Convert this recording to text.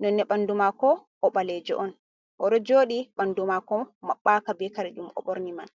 Nonne ɓandu mako oɓalejo'on, oɗo joɗi ɓandu mako maɓɓaka be kare ɗum oɓorni man.